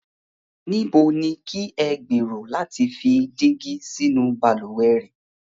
Níbo ni kí ẹ gberò lati fi dígi sínu baluwẹ̀ rẹ̀?